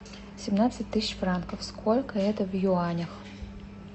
семнадцать тысяч франков сколько это в юанях